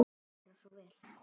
Gerðu svo vel.